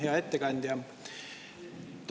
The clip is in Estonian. Hea ettekandja!